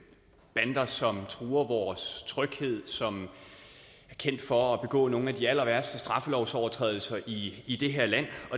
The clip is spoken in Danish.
bander som truer vores tryghed og som er kendt for at begå nogle af de allerværste straffelovsovertrædelser i i det her land